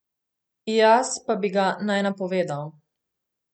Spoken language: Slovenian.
Jaz pa bi ga naj napovedal.